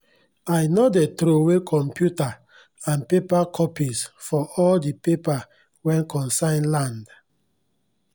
i no dey throway computa and paper copies for all the paper wen concern land